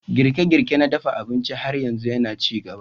Girke-girke na dafa abinci har yanzu yana ci gaba.